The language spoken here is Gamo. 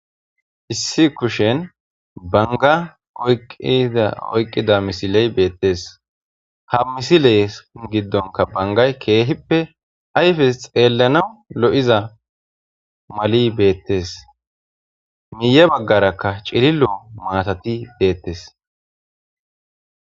Issi kushen banga oyqqida misiley beettes ha misile giddonka bangay keehippe ayfes xeellana lo'iza mali beettes miye baggarakka cirilo maatati beettes.